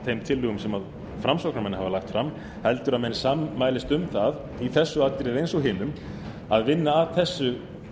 þeim tillögum sem framsóknarmenn hafa lagt fram heldur að menn sammælist um það í þessu atriði eins og hinum að vinna að þessu